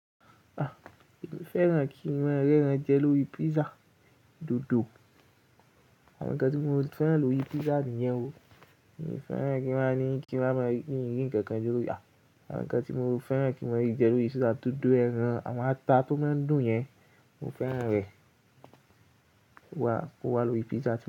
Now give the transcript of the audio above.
Ah, èmi fẹ́ràn kí mon rẹ́ràn jẹ lóri pizza dodo. Àwọn ǹkan tí mo fẹ́ràn lóri pizza nìyẹn o, èmi fẹ́ràn kí wá ní kí wá máa rí ǹkan kan lóri a. Àwọn ǹkan tí mo fẹ́ràn kí mo rí jẹ lóri pizza, dodo ẹran awon ata tó máa ń dùn yẹn, mo fẹ́ràn rẹ̀. Ko wa lóri pizza.